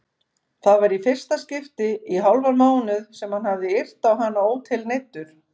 Það var í fyrsta skipti í hálfan mánuð sem hann hafði yrt á hana ótilneyddur.